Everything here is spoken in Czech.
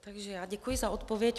Takže já děkuji za odpověď.